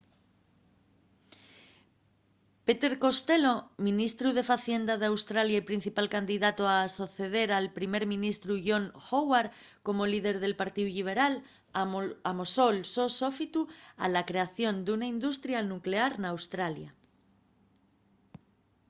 peter costello ministru de facienda d’australia y principal candidatu a soceder al primer ministru john howard como líder del partíu lliberal amosó’l so sofitu a la creación d’una industria nuclear n’australia